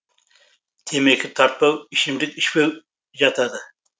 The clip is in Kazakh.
темекі тартпау ішімдік ішпеу жатады